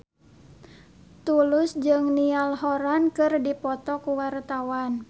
Tulus jeung Niall Horran keur dipoto ku wartawan